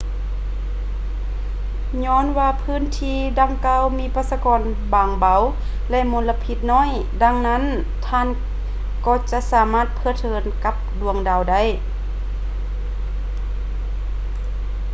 ຍ້ອນວ່າພື້ນທີ່ດັ່ງກ່າວມີປະຊາກອນບາງເບົາ ແລະ ມົນລະພິດໜ້ອຍ ດັ່ງນັ້ນທ່ານກໍຈະສາມາດເພີດເພີນກັບດວງດາວ